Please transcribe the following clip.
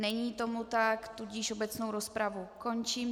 Není tomu tak, tudíž obecnou rozpravu končím.